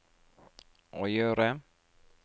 å gjøre